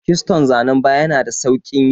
Kiston zanan baya yana da sauƙi yi.